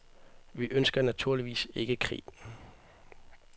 Vi ønsker naturligvis ikke krig.